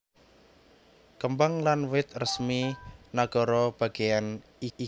Kembang lan wit resmi nagara bagéyan iki ya iku magnolia